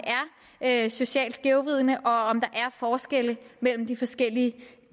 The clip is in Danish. er socialt skævvridende og om der er forskelle mellem de forskellige